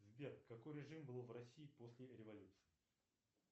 сбер какой режим был в россии после революции